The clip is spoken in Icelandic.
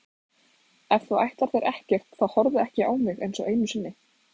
Ef þú ætlar þér ekkert þá horfðu ekki á mig einsog einu sinni.